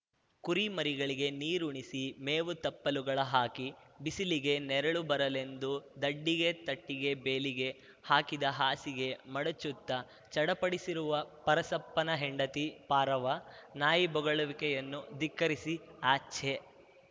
ಕುರಿಮರಿಗಳಿಗೆ ನೀರುಣಿಸಿ ಮೇವು ತಪ್ಪಲುಗಳ ಹಾಕಿ ಬಿಸಿಲಿಗೆ ನೆರಳು ಬರಲೆಂದು ದಡ್ಡಿಗೆ ತಟ್ಟಿಗೆ ಬೇಲಿಗೆ ಹಾಕಿದ ಹಾಸಿಗೆ ಮಡಚುತ್ತಾ ಚಡಪಡಿಸುವ ಪರಸಪ್ಪನ ಹೆಂಡತಿ ಪಾರವ್ವ ನಾಯಿಬೊಗಳುವಿಕೆಯನ್ನು ದಿಕ್ಕರಿಸಿ ಅಛೆ